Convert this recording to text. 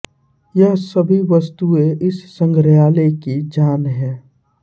यह सभी वस्तुएं इस संग्रहालय की जान हैं